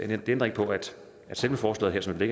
det ændrer ikke på at selve forslaget som det